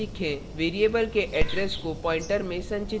variable के address को pointer pointer में संचित करें